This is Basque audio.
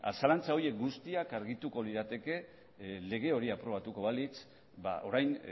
zalantza horiek guztiak argituko lirateke lege hori aprobatuko balitz orain